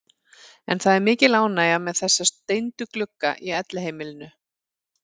En það er mikil ánægja með þessa steindu glugga í Elliheimilinu.